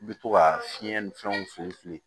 I bi to ka fiɲɛ ni fɛnw fili fili